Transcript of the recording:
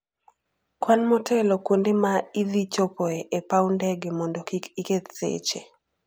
Kwan motelo kuonde ma idhi chopoe e paw ndege mondo kik iketh seche.